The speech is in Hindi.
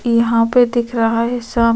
यहां पर दिख रहा है शाम --